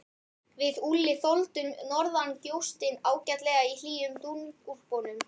Við Úlli þoldum norðangjóstinn ágætlega í hlýjum dúnúlpunum.